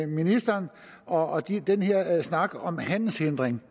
ministeren og den her snak om handelshindring